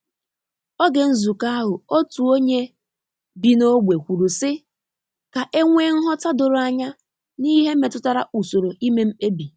Oge nzukọ ahu otu onye bi na ogbe kwuru si ka e nwee nghọta doro anya n’ihe metụtara usoro ime mkpebi.